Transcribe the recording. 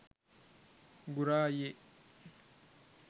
ගුරා අයියේ